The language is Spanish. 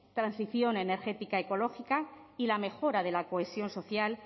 transición energética ecológica y la mejora de la cohesión social